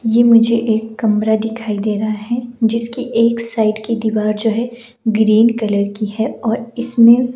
ये मुझे एक कमरा दिखाई दे रहा हैजिसकी एक साइड की दीवार जो हैग्रीन कलर की है और इसमें--